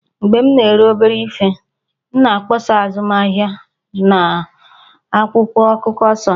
Mgbe m na-ere obere ihe, m na-akpọsa azụmahịa m n'akwụkwọ akụkọ 'Sunny'